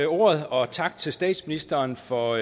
ordet og tak til statsministeren for